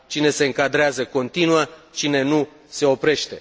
Cine se încadrează continuă, cine nu se oprește.